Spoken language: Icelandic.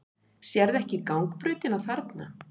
Sérðu ekki gangbrautina þarna?